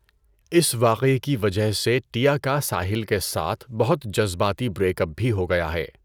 اس واقعے کی وجہ سے ٹیا کا ساحل کے ساتھ بہت جذباتی بریک اپ بھی ہو گیا ہے۔